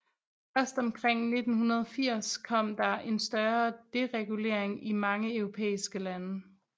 Først omkring 1980 kom der en større deregulering i mange europæiske lande